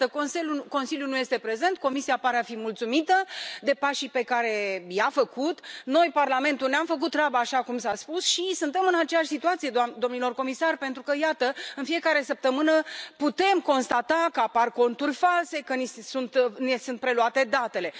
Dar, iată, Consiliul nu este prezent, Comisia pare a fi mulțumită de pașii pe care i a făcut, noi, Parlamentul, ne am făcut treaba așa cum s a spus și suntem în aceeași situație, domnilor comisari, pentru că, iată, în fiecare săptămână putem constata că apar conturi false, că ne sunt preluate datele.